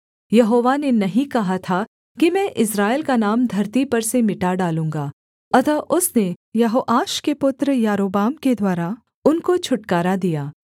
यहोवा ने नहीं कहा था कि मैं इस्राएल का नाम धरती पर से मिटा डालूँगा अतः उसने यहोआश के पुत्र यारोबाम के द्वारा उनको छुटकारा दिया